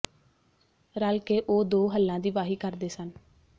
ਰਲ ਕੇ ਉਹ ਦੋ ਹਲਾਂ ਦੀ ਵਾਹੀ ਕਰਦੇ ਸਨ